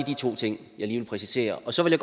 to ting jeg lige ville præcisere så vil